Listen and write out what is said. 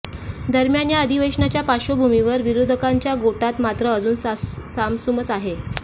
दरम्यान या अधिवेशनाच्या पार्श्वभूमीवर विरोधकांच्या गोटात मात्र अजून सामसुमच आहे